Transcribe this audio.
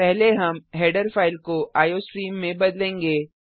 पहले हम header file को आईओस्ट्रीम में बदलेंगे